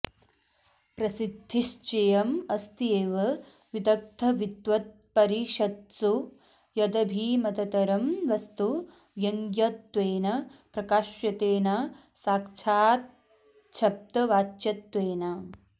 प्रसिद्धिश्चेयमस्त्येव विदग्धविद्वत्परिषत्सु यदभिमततरं वस्तु व्यङ्ग्यत्वेन प्रकाश्यते न साक्षाच्छब्दवाच्यत्वेन